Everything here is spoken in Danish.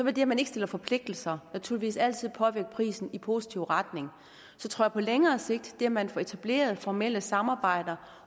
at man ikke stiller forpligtelser naturligvis altid påvirke prisen i positiv retning jeg tror på længere sigt at det at man får etableret formelle samarbejder